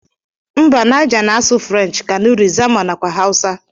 Mba niger na asụ french, kanuri, zanma nakwa hausa.